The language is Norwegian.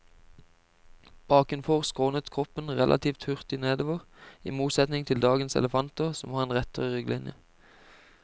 Bakenfor skrånet kroppen relativt hurtig nedover, i motsetning til dagens elefanter som har en rettere rygglinje.